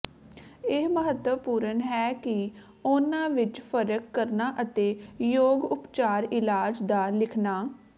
ਇਹ ਮਹੱਤਵਪੂਰਣ ਹੈ ਕਿ ਉਨ੍ਹਾਂ ਵਿੱਚ ਫਰਕ ਕਰਨਾ ਅਤੇ ਯੋਗ ਉਪਚਾਰ ਇਲਾਜ ਦਾ ਲਿਖਣਾ